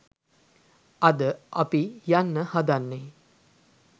අද අපි යන්න හදන්නේ